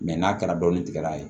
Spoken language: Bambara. n'a kɛra dɔni tigɛ n'a ye